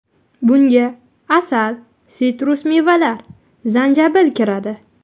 Bunga asal, sitrus mevalar, zanjabil kiradi.